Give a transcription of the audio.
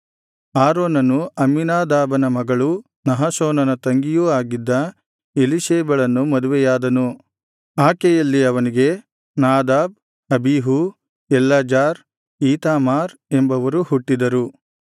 ಆರೋನನು ಅಮ್ಮೀನಾದಾಬನ ಮಗಳೂ ನಹಶೋನನ ತಂಗಿಯೂ ಆಗಿದ್ದ ಎಲೀಶೇಬಳನ್ನು ಮದುವೆಯಾದನು ಆಕೆಯಲ್ಲಿ ಅವನಿಗೆ ನಾದಾಬ್ ಅಬೀಹೂ ಎಲ್ಲಾಜಾರ್ ಈತಾಮಾರ್ ಎಂಬವರು ಹುಟ್ಟಿದರು